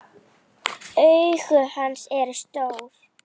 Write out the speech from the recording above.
Augu hans eru stór.